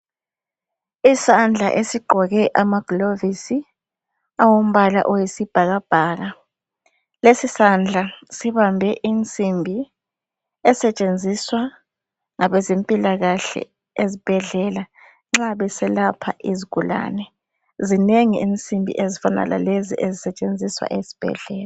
Isandla esigqoke amagilovisi awombala oyisibhakabhaka. Lesi sandla sibambe insimbi esetshenziswa ngabezempilakhahle ezibhedlela nxa beselapha izigulane. Zinengi izinsimbi ezifana lalezi ezisetshenziswa esibhedlela.